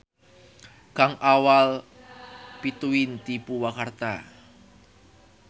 Kang Awal pituin ti Purwakarta.